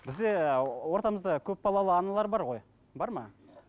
бізде ортамызда көпбалалы аналар бар ғой бар ма